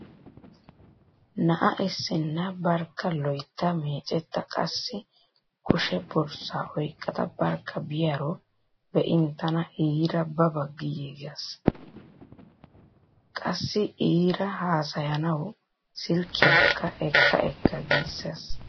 Na'a issinna barkka loytta meecetta qassi kushe borssaa oyqqada barkka biyaaro be'in tana iira ba ba giissees. Qassi iira haasayanawu silkkiyaakka ekka ekka giissees.